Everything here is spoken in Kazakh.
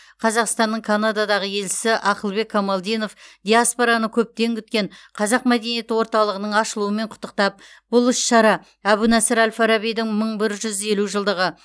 қазақстанның канададағы елшісі ақылбек камалдинов диаспораны көптен күткен қазақ мәдениеті орталығының ашылуымен құттықтап бұл іс шара әбу насыр әл фарабидің мың бір жүз елу жылдығы